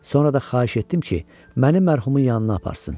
Sonra da xahiş etdim ki, məni mərhumun yanına aparsın.